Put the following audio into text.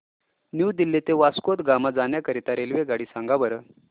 new Delhi ते वास्को द गामा जाण्या करीता रेल्वेगाडी सांगा बरं